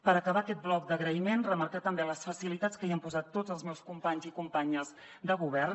per acabar aquest bloc d’agraïments remarcar també les facilitats que hi han posat tots els meus companys i companyes de govern